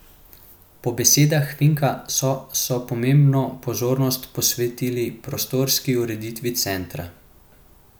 Po besedah Finka so so posebno pozornost posvetili prostorski ureditvi centra.